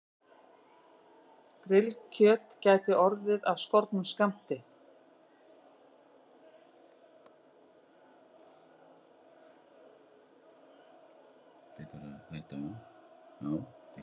Grillkjöt gæti orðið af skornum skammti